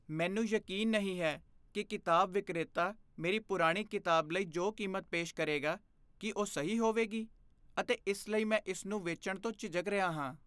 ਮੈਨੂੰ ਯਕੀਨ ਨਹੀਂ ਹੈ ਕਿ ਕਿਤਾਬ ਵਿਕਰੇਤਾ ਮੇਰੀ ਪੁਰਾਣੀ ਕਿਤਾਬ ਲਈ ਜੋ ਕੀਮਤ ਪੇਸ਼ ਕਰੇਗਾ, ਕੀ ਉਹ ਸਹੀ ਹੋਵੇਗੀ, ਅਤੇ ਇਸ ਲਈ ਮੈਂ ਇਸ ਨੂੰ ਵੇਚਣ ਤੋਂ ਝਿਜਕ ਰਿਹਾ ਹਾਂ।